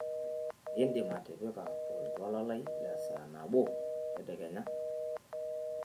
indim atipika oltuala lai lesaa nabo tedekenya